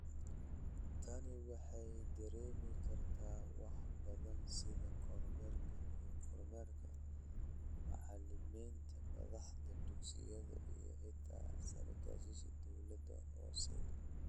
Tani waxay dareemi kartaa wax badan sida 'kormeerka iyo kormeerka' macalimiinta, madaxda dugsiyada, iyo xitaa saraakiisha dawlad-hoosaadyada.